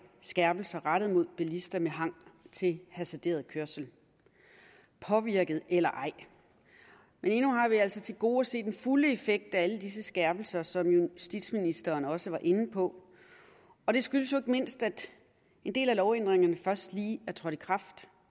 skærpelser rettet mod bilister med hang til hasarderet kørsel påvirket eller ej men endnu har vi altså til gode at se den fulde effekt af alle disse skærpelser som justitsministeren også var inde på og det skyldes ikke mindst at den del af lovændringerne først lige er trådt i kraft